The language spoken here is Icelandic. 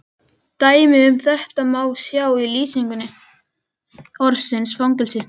Dæmi um þetta má sjá í lýsingu orðsins fangelsi: